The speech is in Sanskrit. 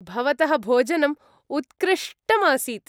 भवतः भोजनम् उत्कृष्टम् आसीत्।